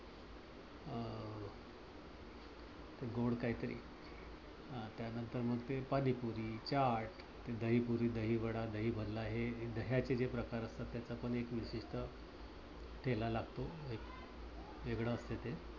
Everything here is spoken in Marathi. गोड काहीतरी अं त्यांनंतर मग ते पाणीपुरी, चाट, दहीपुरी, दहीवडा, दहीभल्ला हे दह्याचे जे प्रकार असतात. त्याचा पण एक विशिष्ट ठेला लागतो. वेगळ असत ते